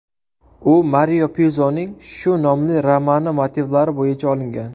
U Mario Pyuzoning shu nomli romani motivlari bo‘yicha olingan.